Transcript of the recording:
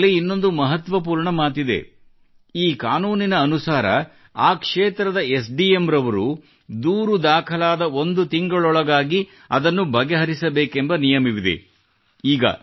ಕಾನೂನಿನಲ್ಲಿ ಇನ್ನೊಂದು ಮಹತ್ವಪೂರ್ಣ ಮಾತಿದೆ ಈ ಕಾನೂನಿನ ಅನುಸಾರ ಆ ಕ್ಷೇತ್ರದ ಎಸ್ಡಿಎಂ ನವರು ದೂರು ದಾಖಲಾದ ಒಂದು ತಿಂಗಳೊಳಗಾಗಿ ಅದನ್ನು ಬಗೆಹರಿಸಬೇಕೆಂಬ ನಿಯಮವಿದೆ